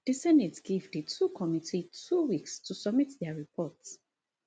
di senate give di committee two weeks to submit dia report